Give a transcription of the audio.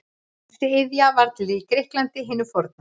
Þessi iðja varð til í Grikklandi hinu forna.